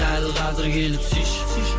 дәл қазір келіп сүйші сүйші